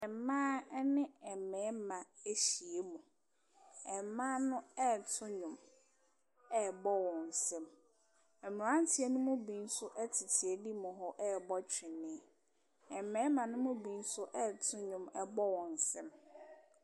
Mmaa ne mmarima ahyia mu, mmaa no ɛreto nnwom bɔ wɔn nsam, mmeranteɛ ne bi nso tete anim hɔ ɛrebɔ tweneɛ, mmarima ne mu bi nso ɛreto nnwom bɔ wɔn nsam.